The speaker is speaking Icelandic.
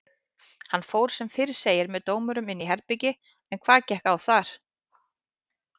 Hann fór sem fyrr segir með dómurunum inn í herbergi en hvað gekk á þar?